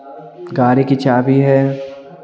गाड़ी की चाबी है।